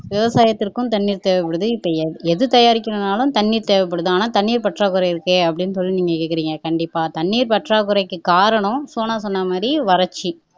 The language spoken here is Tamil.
விவசாயத்திற்கும் தண்ணி தேவைப்படுது இப்ப எ எது தயாரிக்கனும்னாலும் தண்ணி தேவைப்படுது ஆனா தண்ணீர் பற்றாக்குறை இருக்கே அப்படின்னு சொல்லி நீங்க கேக்குறீங்க கண்டிப்பா தண்ணீர் பற்றாக்குறைக்கு காரணம் சோனா சொன்ன மாதிரி வறட்சி